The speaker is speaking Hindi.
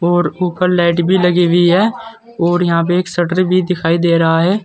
और ऊपर लाइट भी लगी हुई है और यहां पे एक शटर भी दिखाई दे रहा है।